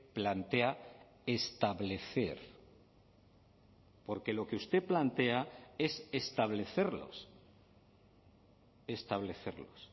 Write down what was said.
plantea establecer porque lo que usted plantea es establecerlos establecerlos